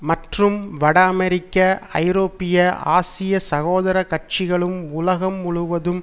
மற்றும் வட அமெரிக்க ஐரோப்பிய ஆசிய சகோதர கட்சிகளும் உலகம் முழுவதும்